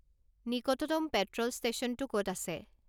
নিকটতম পেট্র'ল ষ্টেশ্যনটো ক'ত আছে